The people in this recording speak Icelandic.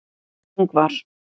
Ingvar